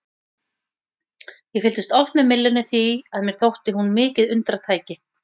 Ég fylgdist oft með myllunni því að mér þótti hún mikið undratæki.